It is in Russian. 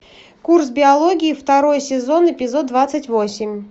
курс биологии второй сезон эпизод двадцать восемь